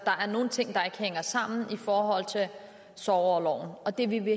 er nogle ting der ikke hænger sammen i forhold til sorgorloven og det vil vi